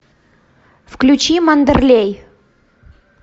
включи мандерлей